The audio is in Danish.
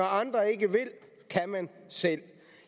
andre ikke vil kan man selv